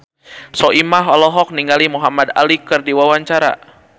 Soimah olohok ningali Muhamad Ali keur diwawancara